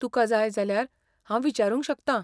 तुका जाय जाल्यार हांव विचारूंक शकता.